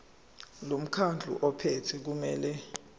lomkhandlu ophethe kumele